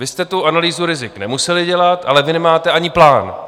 Vy jste tu analýzu rizik nemuseli dělat, ale vy nemáte ani plán.